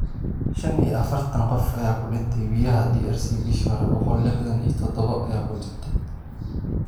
Shan iyo afartan qof ayaa ku dhintay biyaha DRC, bishii hore boqol lixdan iyo todoba ayaa ku dhintay